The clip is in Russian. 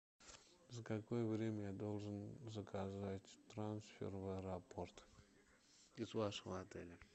за какое время я должен заказать трансфер в аэропорт из вашего отеля